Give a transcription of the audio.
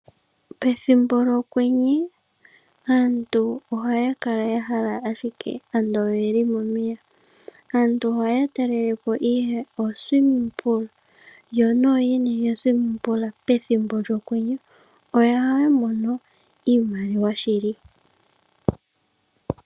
Pethimbo lyo kwenye aantu oha ya kala ya hala ashike ando oye li momeya, aantu oha ya talelepo ihe uundombe wo kumbwinda yo noo yene yuundombe wo kumbwinda pethimbo lyo kwenye oha ya mono iimaliwa shili.